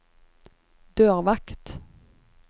dørvakt